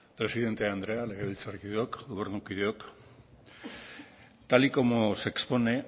presidente andrea legebiltzarkideok gobernukideok tal y como se expone